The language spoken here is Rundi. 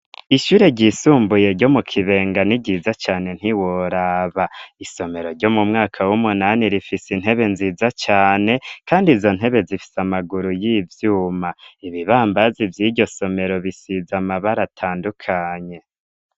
ishyure ryisumbuye ryo mu kibenga ni ryiza cane ntiworaba isomero ryo mu mwaka w'umunani rifise intebe nziza cane kandi izo ntebe zifise amaguru y'ivyuma ibibambazi vy'iryo somero bisize amabara atandukanye.